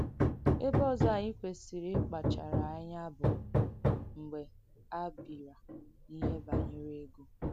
Èbè òzọ̀ ànyị kwesìrì ìkpàchàrà anyà bù mgbe a bị̀rà n’ìhè banyere ego.